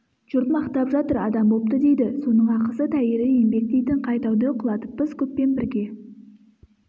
жұрт мақтап жатыр адам бопты дейді соның ақысы тәйірі еңбек дейтін қай тауды құлатыппыз көппен бірге